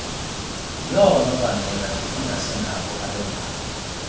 yoononobangela engasingabo abendalo